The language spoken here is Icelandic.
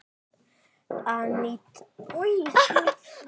Aníta Hólm.